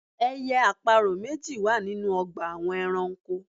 Ẹyẹ àparò méjì wà ninú ọgbà àwọn ẹranko